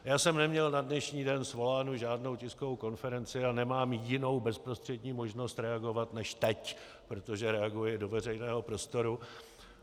Já jsem neměl na dnešní den svolánu žádnou tiskovou konferenci a nemám jinou bezprostřední možnost reagovat než teď, protože reaguji do veřejného prostoru.